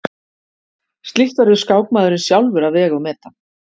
Slíkt verður skákmaðurinn sjálfur að vega og meta.